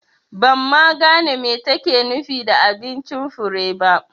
Ban ma gane me take nufi da abincin Fure ba